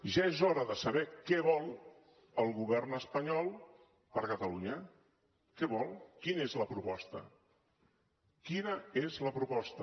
ja és hora de saber què vol el govern espanyol per a catalunya què vol quina és la proposta quina és la proposta